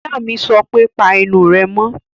Ìyá mi sọ pé, Pa ẹnu rẹ mọ́!